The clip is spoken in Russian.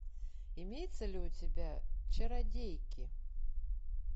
имеется ли у тебя чародейки